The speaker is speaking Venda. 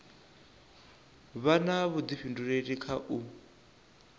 vha na vhuḓifhinduleli kha u